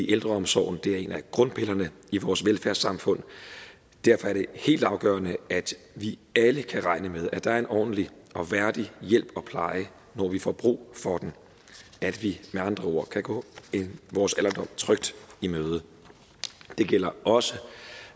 ældreomsorgen er en af grundpillerne i vores velfærdssamfund derfor er det helt afgørende at vi alle kan regne med at der er en ordentlig og værdig hjælp og pleje når vi får brug for den at vi med andre ord kan gå vores alderdom trygt i møde det gælder også